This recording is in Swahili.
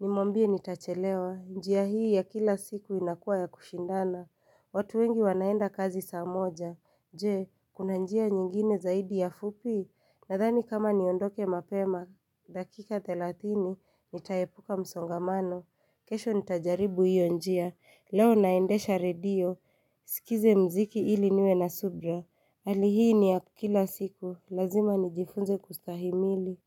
nimwambie nitachelewa, njia hii ya kila siku inakuwa ya kushindana, watu wengi wanaenda kazi saa moja, nje, kuna njia nyingine zaidi ya fupi? Nadhani kama niondoke mapema, dakika thelathini, nitaepuka msongamano, kesho nitajaribu hiyo njia, leo naendesha redio, Sikize mziki ili niwe na subira, hali hii ni ya kila siku, lazima nijifunze kustahimili.